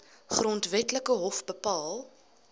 grondwetlike hof bepaal